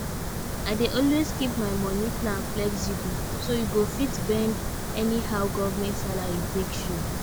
i dey always keep my money plan flexible so e go fit bend anyhow government salary take show